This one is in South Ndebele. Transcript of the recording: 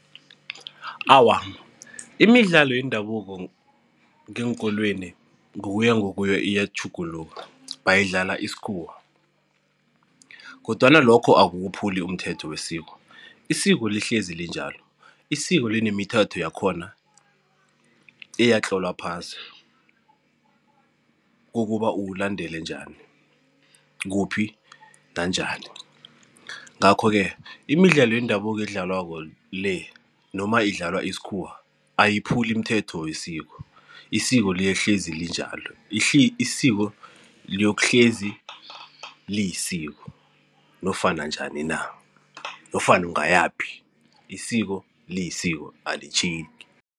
Awa, imidlalo yendabuko ngeenkolweni ngokuya ngokuya iyatjhuguluka, bayidlala isikhuwa kodwana lokho akuwuphuli umthetho wesiko, isiko lihlezi linjalo, isiko linemithetho yakhona eyatlolwa phasi ukuba uwulandele njani, kuphi, nanjani. Ngakho-ke imidlalo yendabuko edlalwako le noma idlalwa isikhuwa ayiphuli imthetho wesiko, isiko liyehlezi linjalo isiko liyokuhlezi liyisiko nofana njani na, nofana ungayaphi isiko liyisiko alitjhi